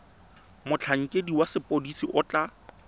motlhankedi wa sepodisi o tla